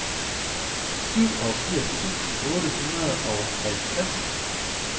syvogfirs tusind otte hundrede og halvtreds